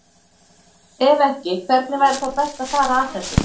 Ef ekki, hvernig væri þá best að fara að þessu?